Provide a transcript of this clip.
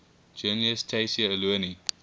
journalist tayseer allouni